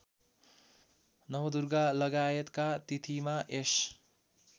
नवदुर्गालगायतका तिथिमा यस